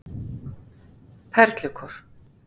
Perlukór